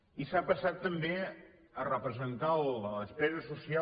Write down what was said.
i s’ha passat també a representar la despesa social